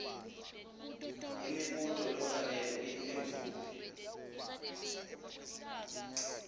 imibuto lofanele uyiphendvule